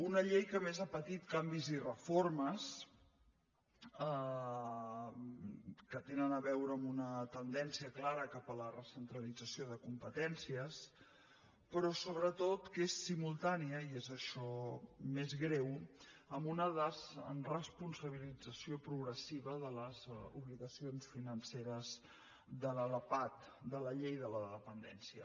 una llei que a més ha patit canvis i reformes que tenen a veure amb una tendència clara cap a la recentralització de competències però sobretot que és simultània i és això més greu amb una desresponsabilització progressiva de les obligacions financeres de la lapad de la llei de la dependència